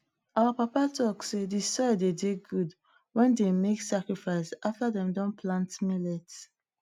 our papa talk sey de soil dey dey good wen dem make sacrifice after dem Accepted plant millet